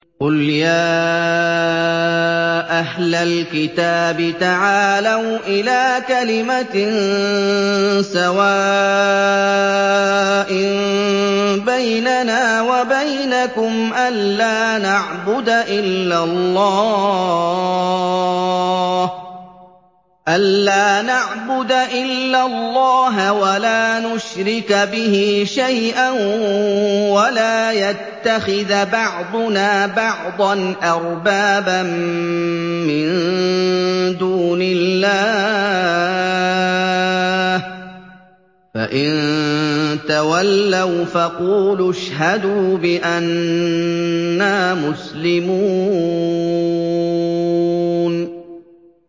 قُلْ يَا أَهْلَ الْكِتَابِ تَعَالَوْا إِلَىٰ كَلِمَةٍ سَوَاءٍ بَيْنَنَا وَبَيْنَكُمْ أَلَّا نَعْبُدَ إِلَّا اللَّهَ وَلَا نُشْرِكَ بِهِ شَيْئًا وَلَا يَتَّخِذَ بَعْضُنَا بَعْضًا أَرْبَابًا مِّن دُونِ اللَّهِ ۚ فَإِن تَوَلَّوْا فَقُولُوا اشْهَدُوا بِأَنَّا مُسْلِمُونَ